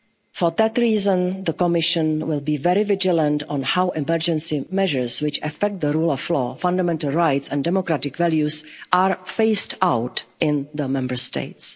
measures. For that reason, the Commission will be very vigilant on how emergency measures, which affect the rule of law, fundamental rights and democratic values, are phased out in the Member